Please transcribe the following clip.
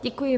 Děkuji.